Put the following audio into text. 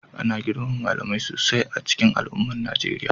Ana girmama malamai sosai a cikin al'ummar Najeriya,